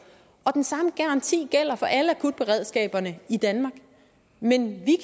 og den samme garanti gælder for alle akutberedskaberne i danmark men vi